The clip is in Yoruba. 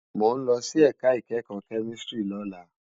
Mó n lòsí èká ikèékò kèmísìtírì lólá